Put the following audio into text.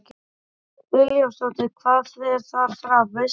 Hödd Vilhjálmsdóttir: Hvað fer þar fram, veistu það?